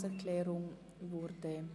Planungserklärung EP